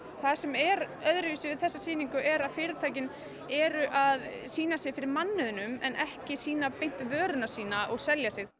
það sem er öðruvísi við þessa sýningu er að fyrirtækin eru að sýna sig fyrir mannauðnum en ekki sýna beint vöruna sína og selja sig